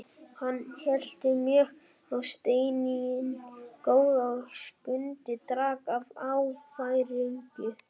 Hann hellti mjólk á steininn góða og Skundi drakk af áfergju.